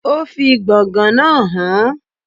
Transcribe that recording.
O fi gbọ̀ngàn náà hàn án.